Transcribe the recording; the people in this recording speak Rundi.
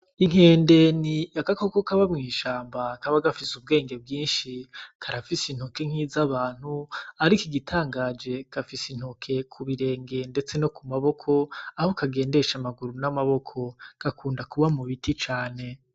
Inkende ni agakoko kaba mu ishamba kaba gafise ubwenge bwinshi. Karafise intoke nk’iz’abantu ariko igitangaje gafise intoke ku birenge ndetse no ku maboko, aho kagendeshya amaguru n’amaboko gakunda kuba mu biti cane.